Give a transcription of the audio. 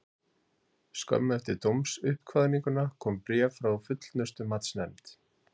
Skömmu eftir dómsuppkvaðninguna kom bréf frá Fullnustumatsnefnd.